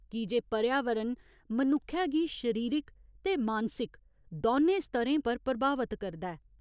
की जे पर्यावरण मनुक्खै गी शरीरक ते मानसिक दौनें स्तरें पर प्रभावत करदा ऐ।